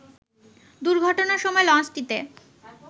দুর্ঘটনার সময় লঞ্চটিতে